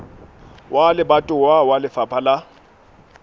wa lebatowa wa lefapha la